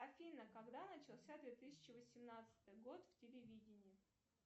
афина когда начался две тысячи восемнадцатый год в телевидении